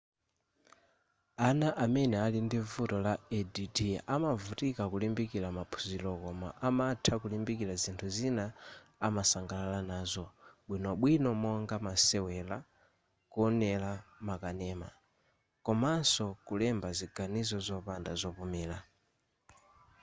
ana amene ali ndi vuto la add amavutika kulimbikila maphunziro koma amatha kulimbikila zinthu zimene amasangalala nazo bwinobwino monga masewela kuonela ma kanema komanso kulemba ziganizo zopanda zopumira